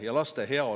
Head kolleegid!